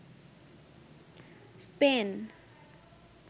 Spain